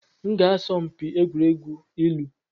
M ga-asọ mpi n'egwuregwu ilu.